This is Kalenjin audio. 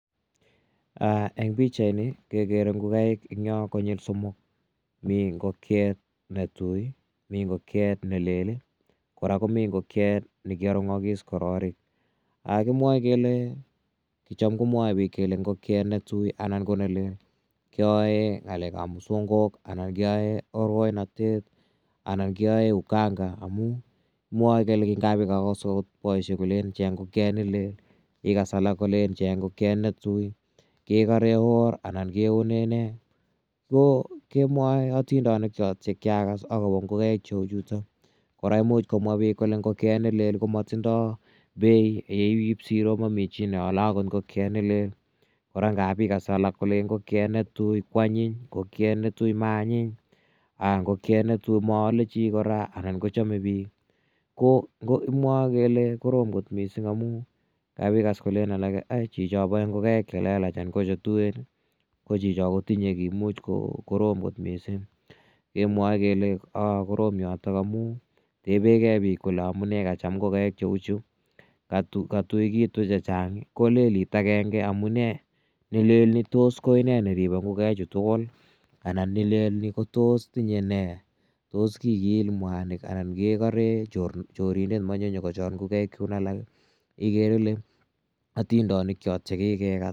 Eng' pichaini kekere ngokaik eng' yo konyil somok. Mi ngokiet ne tui i, mi ngokiet ne lel i, kora komi ngokiet ne ki arung'akis kororik. Kimwae kele, cham komwae pik kole ngokiet ne tui anan ko ne lel kea ng'alek ap musongok anan keae orkoinatet anan keae uganga amu ngap ikas agot poishek kolen cheng' ngokiet ikas alak kolen cheng' ngokiet ne tui kekare or anan keone ne. Ko kemwae atindonik chot che kia kas akopa ngokaik cheu chutok. Kora imich komwa pik kole ngokiet ne oo ko matindai peit yeip siro ko mami chito ne ale akot ngoloet ne lel. Kora ngap ikas alak kolen ne tui ko anyiny, ngokiet ne tui ko maanyiny, ngoliet ne tui ko maale chi kora anan kochame pik. Ko kimwae kele korom missing' amu ngap ikas kolen alake chicho pae ngokaik che lelachen anan ko che tuen ko chicho ko tinye ki imuch ko korom kot missing'. Kemwae kele korom yotok amu ripegei kole amu ne kacham ngokaik cheu chu. Katuekitu che chang' kolelit agenge amu nee? Ne lel ko tos ine ne ripei ngokaichu tugul i? Anan ni lel ni ko tos tinye ne? Tos kikiil mwanik anan ke kare chorindet mache nyukochor ngokaik chun alak igere ile atindonik cho che kikekas.